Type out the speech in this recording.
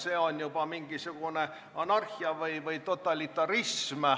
See on juba mingisugune anarhia või totalitarism.